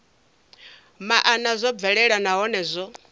maana zwo bvelela nahone zwo